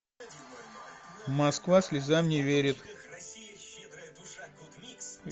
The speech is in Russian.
москва слезам не верит